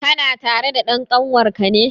Kana tare da dan kanwar ka ne?